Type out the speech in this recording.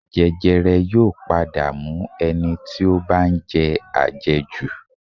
Jẹjẹrẹ yóò padà mú ẹni tí ó bá ń jẹ àjẹjù